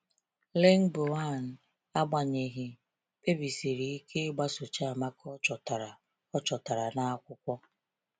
Lingbaoan, agbanyeghị, kpebisiri ike ịgbaso Chiamaka ọ chọtara ọ chọtara n’akwụkwọ.